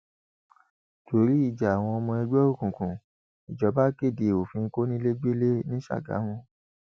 torí ìjà àwọn ọmọ ẹgbẹ òkùnkùn ìjọba kéde òfin kọnilẹgbẹlẹ ní ṣàgámù